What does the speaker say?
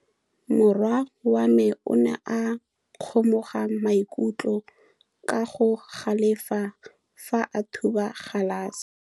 Morwa wa me o ne a kgomoga maikutlo ka go galefa fa a thuba galase.